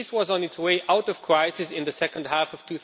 Greece was on its way out of crisis in the second half of